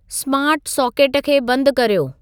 स्मार्टु socket खे बंदि कर्यो